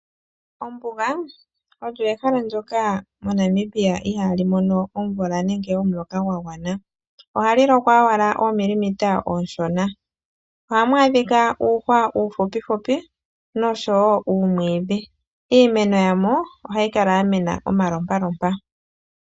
Ombuga olyo ehala ndoka moNamibia ihaali mono omvula nenge omuloka gwagwana. Ohali lokwa oomilimita oonshona. Ohamu adhika uuhwa uufupifupi noshowo uumwiidhi. Iimeno yamo ohayi mene omalompalompa.